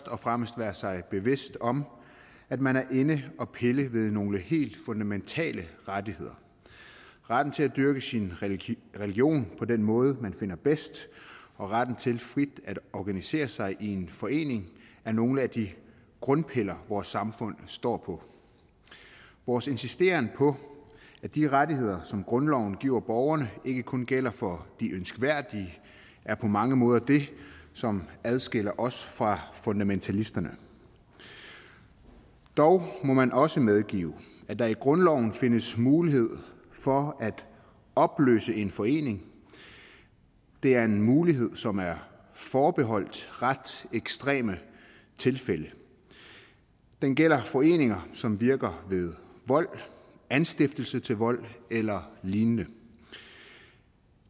og fremmest være sig bevidst om at man er inde at pille ved nogle helt fundamentale rettigheder retten til at dyrke sin religion på den måde man finder bedst og retten til frit at organisere sig i en forening er nogle af de grundpiller vores samfund står på vores insisteren på at de rettigheder som grundloven giver borgerne ikke kun gælder for de ønskværdige er på mange måder det som adskiller os fra fundamentalisterne dog må man også medgive at der i grundloven findes mulighed for at opløse en forening det er en mulighed som er forbeholdt ret ekstreme tilfælde den gælder foreninger som virker ved vold anstiftelse til vold eller lignende